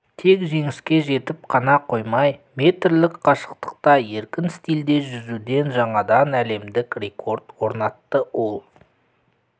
тек жеңіске жетіп қана қоймай метрлік қашықтыққа еркін стильде жүзуден жаңадан әлемдік рекорд орнатты ол